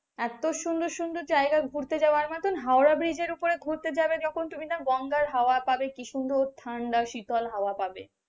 এত সুন্দর সুন্দর জায়গা ঘুরতে যাওয়ার মত হাওড়া ব্রিজের উপর ঘুরতে যাবে যখন তুমি না গঙ্গার হাওয়া পাবে কি সুন্দর ঠান্ডা শীতল পাবে,